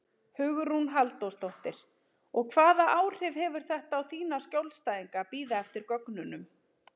Hugrún Halldórsdóttir: Og hvaða áhrif hefur þetta á þína skjólstæðinga að bíða eftir gögnunum?